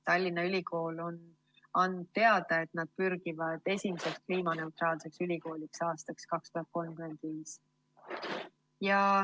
Tallinna Ülikool on andnud teada, et nad pürgivad esimeseks kliimaneutraalseks ülikooliks aastaks 2035.